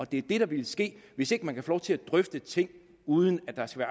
det der ville ske hvis ikke man kan få lov til at drøfte ting uden at der skal